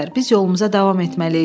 Biz yolumuza davam etməliyik.